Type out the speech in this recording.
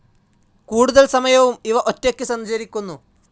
കൂടുതൽ സമയവും ഇവ ഒറ്റയ്ക്ക് സഞ്ചരിക്കുന്നു.